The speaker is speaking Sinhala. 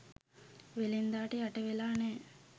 වෙළෙන්දාට යට වෙලා නෑ.